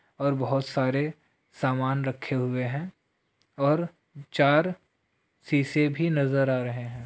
और बहोत सारे समान रखे हुए है और चार सीसे भी नजर आ रहे है।